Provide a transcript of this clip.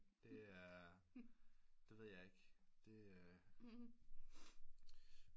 Det er det ved jeg ikke det øh